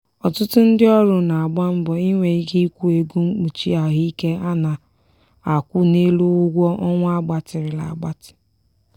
ọtụtụ ndị ọrụ na-agba mbọ inwe ike ịkwụ ego mkpuchi ahụike a na-akwụ n'elu ụgwọ ọnwa a gbatịrịla agbatị.